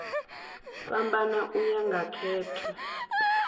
fhambana u ya nga khetho